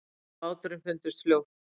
Konan og báturinn fundust fljótt.